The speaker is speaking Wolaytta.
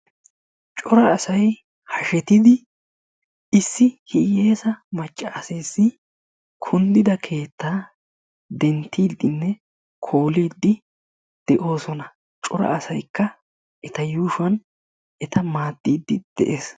Cora asay haashshettidi issi hiyessa maccaseesi kunddidia keettaa denttiidinne kooliidi de"osona. Cora asaykka eta yuushshuwaan eta maaddidi de'ees.